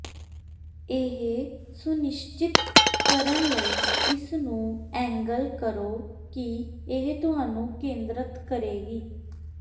ਇਹ ਸੁਨਿਸ਼ਚਿਤ ਕਰਨ ਲਈ ਇਸ ਨੂੰ ਐਂਗਲ ਕਰੋ ਕਿ ਇਹ ਤੁਹਾਨੂੰ ਕੇਂਦ੍ਰਤ ਕਰੇਗੀ